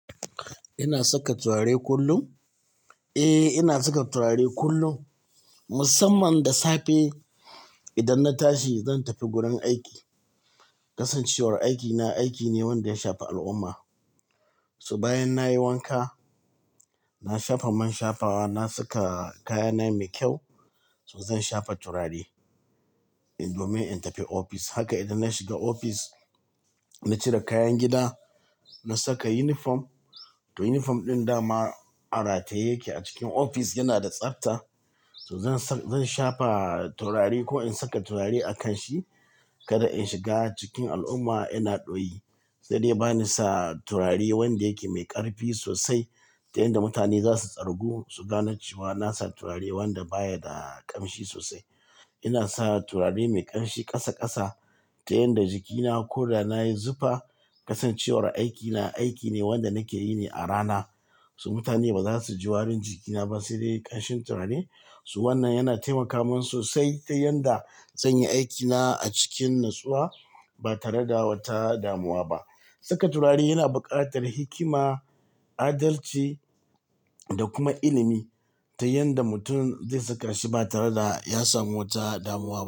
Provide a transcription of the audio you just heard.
Ina saka turare kullum? Eh, ina saka turare kullum, musamman da safe idan na tashi zan tafi gurin aiki. Kasancewar aikina aiki ne wanda ya shafa al'umma. To bayan nayi wanka, na shafa mai shafawa, na saka kayana mai kyau, so za in shafa turare in, domin in tafi ofis. Haka idan na shiga ofis, na cire kayan gida, na saka yunifom. To yunifom ɗin dama a rataye yake a cikin ofis yana da tsafta to za in sha-- zan shafa turare ko in saka turare a kanshi kada in shiga cikin al'umma ina ɗoyi. Sai dai bani sa turare wanda yake mai ƙarfi sosai. Ta yanda mutane za su tsargu su gane cewa na sa turare wanda baya da ƙamshi sosai. Ina sa turare mai ƙanshi ƙasa ƙasa ta yanda jikina ko da nayi zufa, kasancewar aikina aiki ne wanda nake yi ne a rana. So mutane ba za su ji warin jikina ba sai dai ƙanshin turare. So wannan yana taimaka min sosai ta yanda zan yi aikina a cikin natsuwa ba tare da wata damuwa ba. Saka turare yana buƙatar hikima, adalci da kuma ilimi ta yanda mutum zai saka shi ba tare da ya samu wata damuwa.